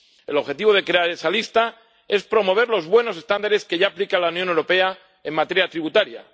El objetivo de crear esa lista es promover los buenos estándares que ya aplica la Unión Europea en materia tributaria.